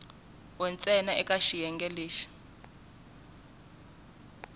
we ntsena eka xiyenge lexi